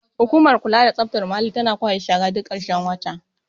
hukumar kula da tsaftar muhalli tana kwashe shara duk karshen wata